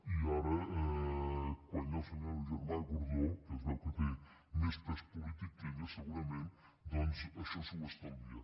i ara quan hi ha el senyor germà gordó que es veu que té més pes polític que ella segurament doncs això s’ho estalvia